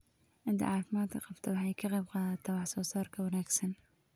Ciidda caafimaadka qabta waxay ka qaybqaadataa wax-soo-saarka wanaagsan.